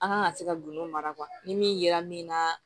An kan ka se ka gindow mara ni min yera min na